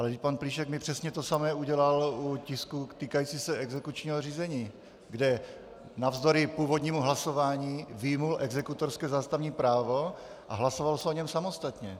Ale pan Plíšek mi přesně to samé udělal u tisků týkajících se exekučního řízení, kde navzdory původnímu hlasování vyjmul exekutorské zástavní právo a hlasovalo se o něm samostatně.